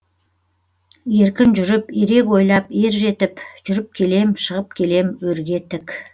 еркін жүріп ерек ойлап ержетіп жүріп келем шығып келем өрге тік